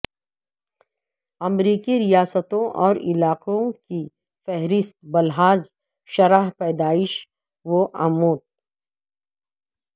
امریکی ریاستوں اور علاقوں کی فہرست بلحاظ شرح پیدائش و اموت